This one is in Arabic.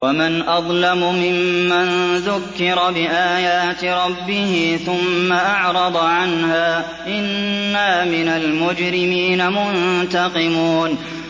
وَمَنْ أَظْلَمُ مِمَّن ذُكِّرَ بِآيَاتِ رَبِّهِ ثُمَّ أَعْرَضَ عَنْهَا ۚ إِنَّا مِنَ الْمُجْرِمِينَ مُنتَقِمُونَ